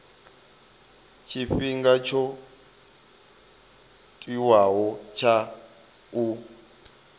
tshifhinga tsho tiwaho tsha u